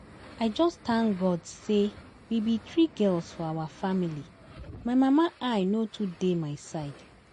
I just thank God say we be three girls for our family, my mama eye no too dey my side